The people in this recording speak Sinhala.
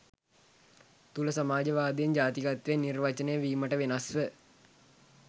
තුළ සමාජවාදයෙන් ජාතිකත්වය නිර්වචනය වීමට වෙනස්ව